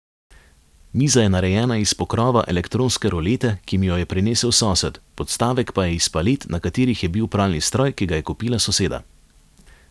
Miza je narejena iz pokrova elektronske rolete, ki mi jo je prinesel sosed, podstavek pa je iz palet, na katerih je bil pralni stroj, ki ga je kupila soseda.